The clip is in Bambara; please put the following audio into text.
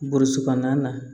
Burusi kɔnɔna na